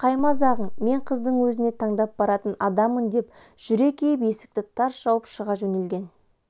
бұл қай мазағың мен қыздың өзіне таңдап баратын адаммын деп жүре киіп есікті тарс жауып шыға жөнелген